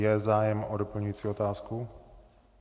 Je zájem o doplňující otázku?